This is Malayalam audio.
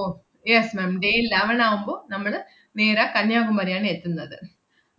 ഓ yes ma'am day eleven ആവുമ്പൊ നമ്മള് നേരെ കന്യാകുമരിയാണ് എത്തുന്നത്. ഹും